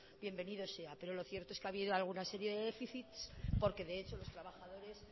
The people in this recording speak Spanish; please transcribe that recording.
bienvenido sea pero lo cierto es que ha habido alguna serie de déficits porque de hecho los trabajadores